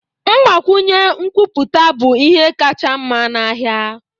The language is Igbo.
Mgbakwụnye nkwupụta bụ ihe kacha mma n'ahịa